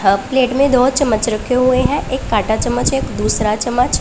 ह प्लेट में दो चम्मच रखे हुए हैं एक कांटा चम्मच एक दूसरा चम्मच--